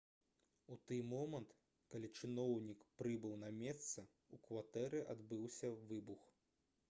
у тый момант калі чыноўнік прыбыў на месца у кватэры адбыўся выбух